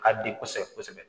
A ka di kosɛbɛ kosɛbɛ